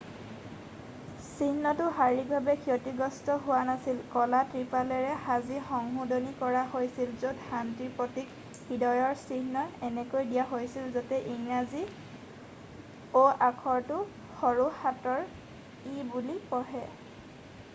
"চিহ্নটো শাৰীৰিকভাৱে ক্ষতিগ্ৰস্ত হোৱা নাছিল; কলা ত্ৰিপালেৰে সাজি সংশোধনী কৰা হৈছিল য'ত শান্তিৰ প্ৰতীক হৃদয়ৰ চিহ্ন এনেকৈ দিয়া হৈছিল যাতে ইংৰাজী "o" আখৰটো সৰু হাতৰ "e" বুলি পঢ়ে।""